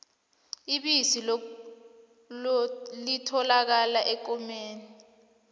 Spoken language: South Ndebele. ibisi lotholakala ekomeni